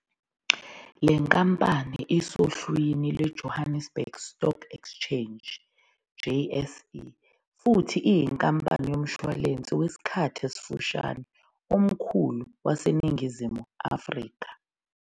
Le nkampani isohlwini lweJohannesburg Stock Exchange, JSE, futhi iyinkampani yomshwalense wesikhathi esifushane omkhulu waseNingizimu Afrika.